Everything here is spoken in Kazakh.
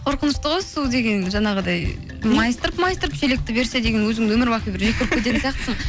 қорқынышты ғой су деген жаңағыдай майыстырып майыстырып шелекті берсе деген өзіңді өмірбақи бір жек көріп кететін сияқтысың